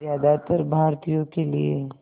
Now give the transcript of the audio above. ज़्यादातर भारतीयों के लिए